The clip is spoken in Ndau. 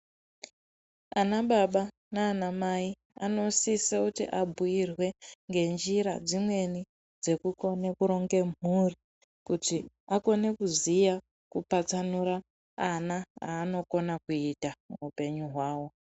Ana baba nana Mai anosisa kuti abhuirwe ngenjira dzimweni dzekukona kuronga mhuri kuti akone kuziya kupatsanura ana anokona kuita muhupenyu hwavo.